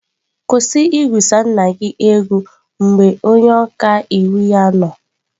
Kwụsị igwusa nna gị egwu mgbe onye ọka iwu ya nọ.